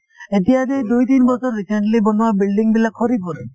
এতিয়া যে দুই তিনি বছৰ recently বনোৱা building বিলাক সৰি পৰে